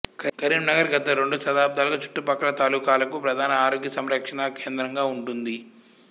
కరీంనగర్ గత రెండు దశాబ్ధాలుగా చుట్టుపక్కల తాలూకాలకు ప్రధాన ఆరోగ్యసంరక్షణా కేంద్రంగా ఉంటుంది